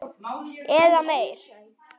Eða meir.